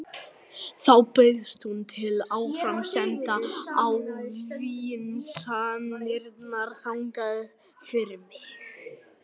Þá bauðst hún til að áframsenda ávísanirnar þangað fyrir mig.